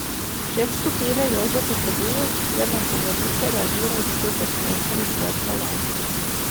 Šef skupine Jože Potrebuješ je na govorice reagiral z videoposnetkom z vrha ladje.